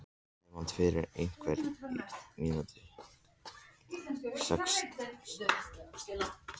Hefnd fyrir einhvern af mínum sextíu og sex.